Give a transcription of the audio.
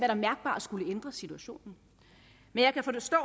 der mærkbart skulle ændre situationen men jeg kan forstå